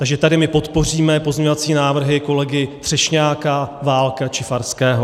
Takže tady my podpoříme pozměňovací návrhy kolegy Třešňáka, Válka či Farského.